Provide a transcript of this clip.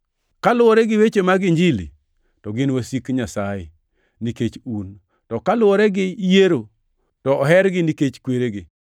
Kaluwore gi weche mag Injili, to gin wasik Nyasaye, nikech un, to kaluwore gi yiero, to ohergi nikech kweregi